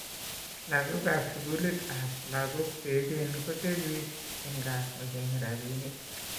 lagok ab skulit ab lagok che echen kotebi eng kaa kocheng rabinik